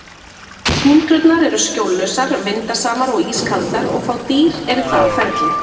Túndrurnar eru skjóllausar, vindasamar og ískaldar og fá dýr eru þar á ferli.